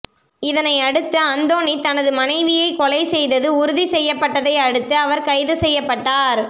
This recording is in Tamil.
இதனை அடுத்து அந்தோணி தனது மனைவியை கொலை செய்தது உறுதி செய்யப்பட்டதை அடுத்து அவர் கைது செய்யப்பட்டார்